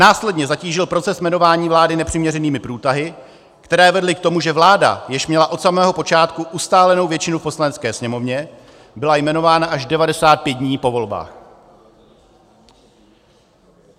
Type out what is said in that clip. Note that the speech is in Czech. Následně zatížil proces jmenování vlády nepřiměřenými průtahy, které vedly k tomu, že vláda, jež měla od samého počátku ustálenou většinu v Poslanecké sněmovně, byla jmenována až 95 dní po volbách.